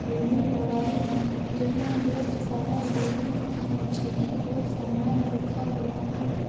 दिखाई दे रहा है जहाँ बहुत सारा लोहे का नीचे की ओर सामान रखा हुआ है।